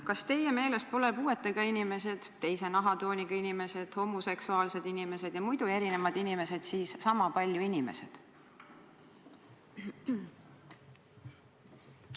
Kas teie meelest pole puuetega inimesed, teise nahatooniga inimesed, homoseksuaalsed inimesed ja muidu erinevad inimesed siis sama palju inimesed?